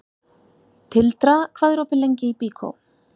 Tildra, hvað er opið lengi í Byko?